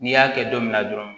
N'i y'a kɛ don min na dɔrɔn